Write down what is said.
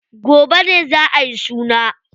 Gobe ne za ayi suna.